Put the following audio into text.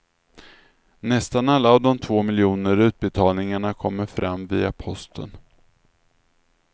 Nästan alla av de två miljoner utbetalningarna kommer fram via posten.